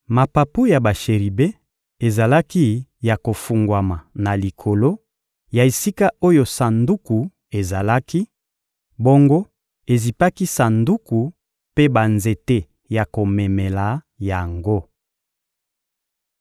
Mapapu ya basheribe ezalaki ya kofungwama na likolo ya esika oyo Sanduku ezalaki, bongo ezipaki Sanduku mpe banzete ya komemela yango.